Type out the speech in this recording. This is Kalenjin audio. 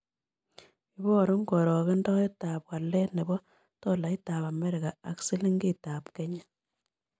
Iborun karogendoetap walet ne po tolaitap amerika ak silingiitap kenya